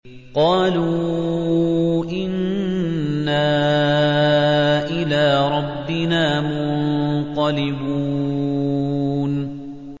قَالُوا إِنَّا إِلَىٰ رَبِّنَا مُنقَلِبُونَ